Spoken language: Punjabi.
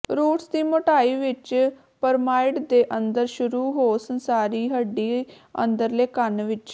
ਰੂਟਸ ਦੀ ਮੋਟਾਈ ਵਿਚ ਪਿਰਾਮਿਡ ਦੇ ਅੰਦਰ ਸ਼ੁਰੂ ਹੋ ਸੰਸਾਰੀ ਹੱਡੀ ਅੰਦਰਲੇ ਕੰਨ ਵਿਚ